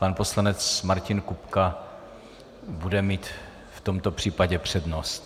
Pan poslanec Martin Kupka bude mít v tomto případě přednost.